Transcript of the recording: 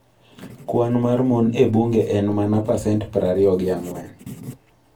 Kwan mar mon e bunge en mana pasent prariyo gi ang'wen